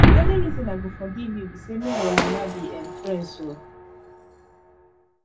the only reason i go forgive you be say me and your mama be um friends oo